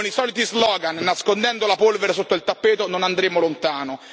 Con i soliti slogan, nascondendo la polvere sotto il tappeto, non andremo lontano.